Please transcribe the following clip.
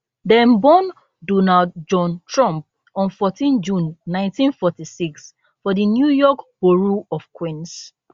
dem born donald john trump on 14 june 1946 for di new york borough of queens